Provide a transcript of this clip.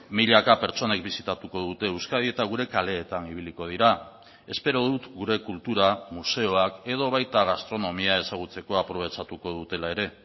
milaka pertsonei bisitatuko dute euskadi eta gure kaleetan ibiliko dira espero dut gure kultura museoak edo baita gastronomia ezagutzeko aprobetxatuko dutela ere